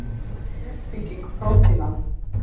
Hvernig er uppbygging prótína?